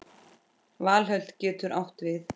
Valhöll getur átt við